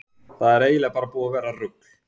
Kristólína, stilltu niðurteljara á áttatíu mínútur.